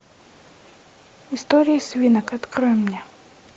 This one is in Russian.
история свинок открой мне